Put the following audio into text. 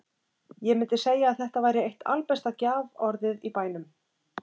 Ég mundi segja að þetta væri eitt albesta gjaforðið í bænum.